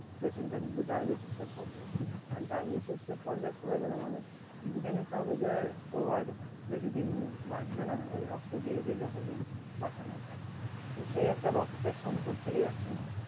patient টা কিন্রু dialysis এর পর্যায় পরে যাই আর dialysis এর পর্যায় পরে যাই মানে বুঝেনিতে হবে যে ও আর বেশি দিন বাচঁবেনা ওই রক্ত দিয়ে দিয়ে যতদিন বাঁচানো যাই তো সেই একটা রক্তের সংকট থেকে যাচ্ছে না